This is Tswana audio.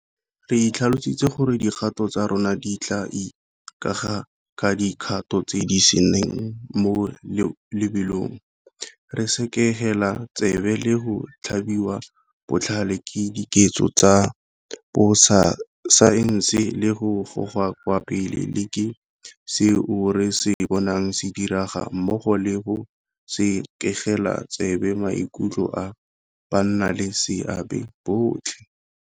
Re itlhalositse gore dikgato tsa rona di tla ikaega ka di kgato tse di seng mo lebelong, re sekegela tsebe le go tlhabiwa botlhale ke dikeletso tsa borasaense le go gogwa kwa pele le ke seo re se bonang se diragala mmogo le go sekegela tsebe maikutlo a bannaleseabe botlhe.